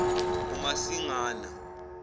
umasingana